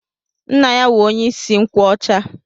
Nna ya wụ onye isi nkwọcha.